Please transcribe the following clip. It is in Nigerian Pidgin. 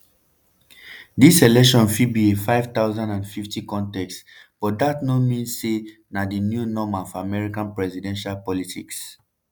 dis election fit be a 50-50 contest but dat no mean say na di new normal for american presidential politics.